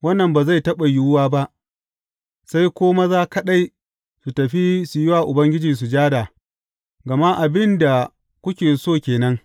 Wannan ba zai taɓa yiwu ba, sai ko maza kaɗai su tafi su yi wa Ubangiji sujada, gama abin da kuke so ke nan.